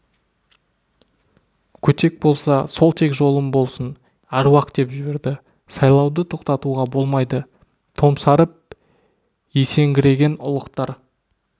көтек болса сол тек жолым болсын әруақ деп жіберді сайлауды тоқтатуға болмайды томсарып есеңгіреген ұлықтар